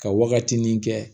Ka wagati nin kɛ